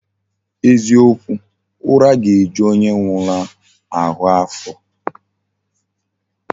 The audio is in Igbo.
Eziokwu, ura ga eju onye nwuru ahu afo